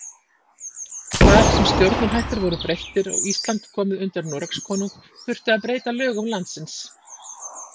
Þar sem stjórnarhættir voru breyttir og Ísland komið undir Noregskonung þurfti að breyta lögum landsins.